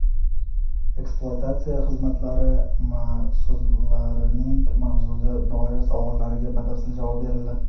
ekspluatatsiya xizmatlari mas’ullarining mavzuga doir savollariga batafsil javob berildi.